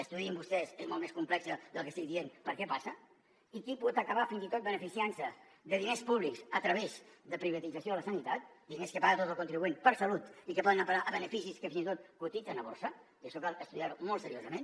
estudiïn vostès és molt més complex del que estic dient per què passa i qui pot acabar fins i tot beneficiant se de diners públics a través de la privatització de la sanitat diners que paga el contribuent per salut i que poden anar a parar a beneficis que fins i tot cotitzen a borsa i això cal estudiar ho molt seriosament